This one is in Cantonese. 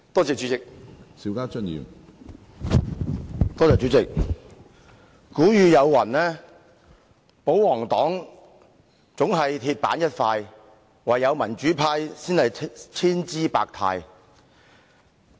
主席，有人說："保皇黨總是鐵板一塊，唯有民主派才是千姿百態"。